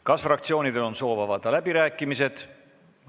Kas fraktsioonidel on soovi avada läbirääkimisi?